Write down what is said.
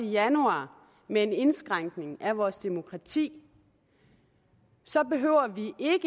januar med en indskrænkning af vores demokrati så behøver